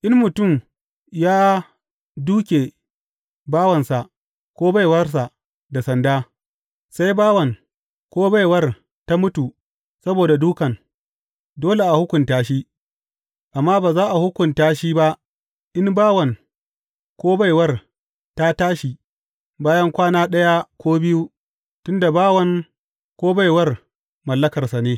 In mutum ya dūke bawansa ko baiwarsa da sanda, sai bawan ko baiwar ta mutu saboda dūkan, dole a hukunta shi, amma ba za a hukunta shi ba, in bawan ko baiwar ta tashi, bayan kwana ɗaya ko biyu, tun da bawan ko baiwar mallakarsa ne.